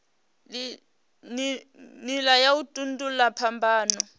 nila ya u tandululwa phambano